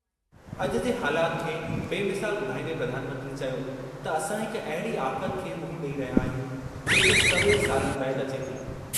अॼु जे हालाति खे बेमिसाल ॿुधाईंदे प्रधानमंत्री चयो त असां हिक अहिड़ी आफ़त खे मुंहुं ॾेई रहिया आहियूं, जेके सवें सालनि बैदि अचे थी।